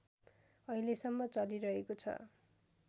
अहिलेसम्म चलिरहेको छ